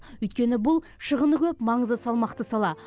өйткені бұл шығыны көп маңызы салмақты сала